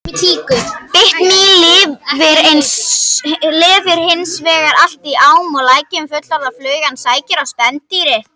Bitmý lifir hins vegar villt í ám og lækjum og fullorðna flugan sækir á spendýr.